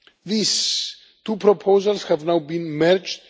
These two proposals have now been merged.